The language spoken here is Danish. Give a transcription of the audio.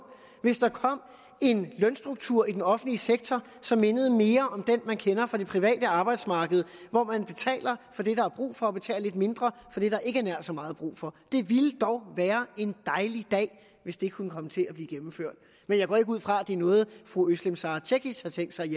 hvis der kom en lønstruktur i den offentlige sektor som mindede mere om den man kender fra det private arbejdsmarked hvor man betaler for det der er brug for og betaler lidt mindre for det der ikke er nær så meget brug for det ville dog være en dejlig dag hvis det kunne komme til at blive gennemført men jeg går ikke ud fra at det er noget fru özlem sara cekic har tænkt sig